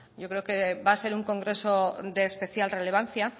yo creo que va a ser un congreso de especial relevancia